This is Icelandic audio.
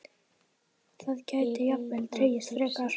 Það gæti jafnvel dregist frekar.